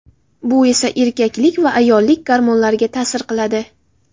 Bu esa erkaklik va ayollik gormonlariga ta’sir qiladi.